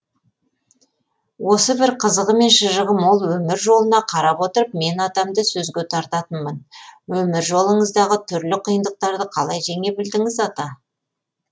осы бір қызығы мен шыжығы мол өмір жолына қарап отырып мен атамды сөзге тартатынмын өмір жолыңыздағы түрлі қиындықтарды қалай жеңе білдіңіз ата